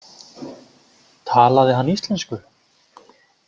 Talaði hann íslensku?